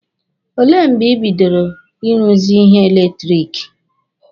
Olee mgbe ị bidoro Ị ruzi ihe eletiriki?